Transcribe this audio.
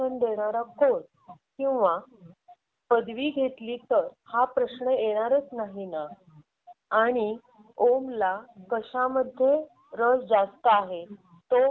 त्याचा कल हा कला वाणिज्य आणि विज्ञान कुठे आहे याचा तुला अंदाज येईल आणि मग त्याप्रमाणे तुला त्याचे चांगले पर्याय निवडता येतील आणि मग त्याचा शिक्षण पूर्ण झाल्यावर त्याला आपण लवकरात लवकर मार्गात कसं लागू हे लक्षात येईल.